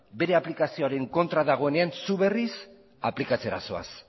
bere aplikazioaren kontra dagoenean zu berriz aplikatzera zoaz